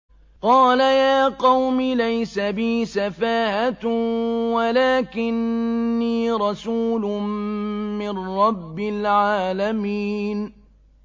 قَالَ يَا قَوْمِ لَيْسَ بِي سَفَاهَةٌ وَلَٰكِنِّي رَسُولٌ مِّن رَّبِّ الْعَالَمِينَ